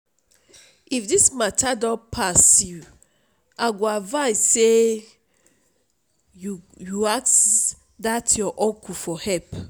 if dis matter don pass you i go advise say you ask dat your uncle for help